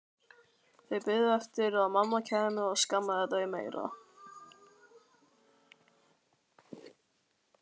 Þau biðu eftir að mamma kæmi og skammaði þau meira.